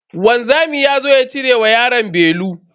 Wanzami yazo ya cire wa yaro belu.